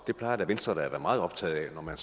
det plejer venstre da at være meget optaget af når man